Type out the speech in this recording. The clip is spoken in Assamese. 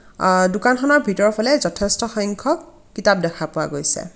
আ দোকানখনৰ ভিতৰফালে যথেষ্ট সংখ্যক কিতাপ দেখা পোৱা গৈছে।